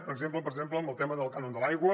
per exemple amb el tema del cànon de l’aigua